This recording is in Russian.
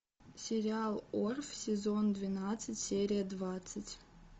сериал орф сезон двенадцать серия двадцать